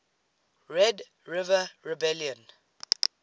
red river rebellion